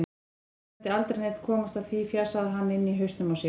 Sennilega mundi aldrei neinn komast að því, fjasaði hann inni í hausnum á sér.